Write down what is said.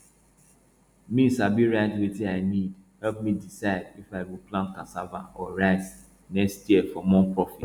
me sabi write wetin i need help me decide if i go plant cassava or rice next year for more profit